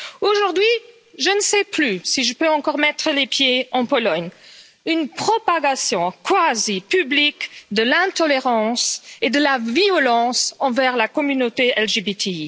Aujourd'hui, je ne sais plus si je peux encore mettre les pieds en Pologne, avec une propagation quasi publique de l'intolérance et de la violence envers la communauté LGBTI.